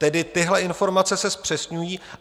Tedy tyhle informace se zpřesňují.